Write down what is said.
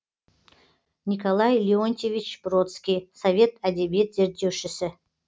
николай леонтьевич бродский совет әдебиет зерттеушісі